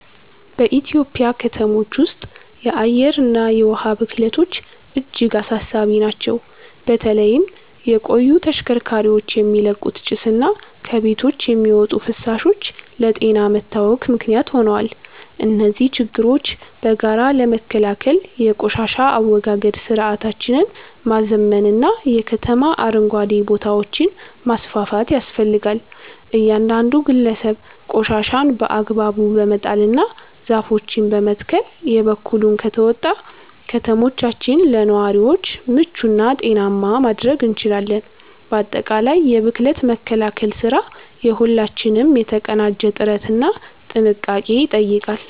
በኢትዮጵያ ከተሞች ውስጥ የአየርና የውሃ ብክለቶች እጅግ አሳሳቢ ናቸው። በተለይም የቆዩ ተሽከርካሪዎች የሚለቁት ጭስና ከቤቶች የሚወጡ ፍሳሾች ለጤና መታወክ ምክንያት ሆነዋል። እነዚህን ችግሮች በጋራ ለመከላከል የቆሻሻ አወጋገድ ስርዓታችንን ማዘመንና የከተማ አረንጓዴ ቦታዎችን ማስፋፋት ያስፈልጋል። እያንዳንዱ ግለሰብ ቆሻሻን በአግባቡ በመጣልና ዛፎችን በመትከል የበኩሉን ከተወጣ፣ ከተሞቻችንን ለነዋሪዎች ምቹና ጤናማ ማድረግ እንችላለን። ባጠቃላይ የብክለት መከላከል ስራ የሁላችንንም የተቀናጀ ጥረትና ጥንቃቄ ይጠይቃል።